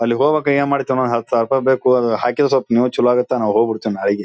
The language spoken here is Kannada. ಅಲ್ಲಿ ಹೋಗ್ಬೇಕು ಏನ್ ಮಾಡ್ತಾನೋ ಹತ್ ಸಾವಿರ ರೂಪಾಯಿ ಬೇಕು ಹಾಕಿದ್ರೆ ಸ್ವಲ್ಪ ನೀವು ಚೆಲೋ ಆಗುತ್ತ ನಾವ್ ಹೋಗ್ಬಿಡ್ತಿವಿ ನಾಳೀಗೆ.